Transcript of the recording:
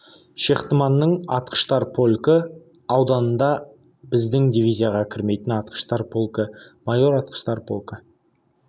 шехтманның атқыштар полкі ауданында біздің дивизияға кірмейтін атқыштар полкі майор атқыштар полкі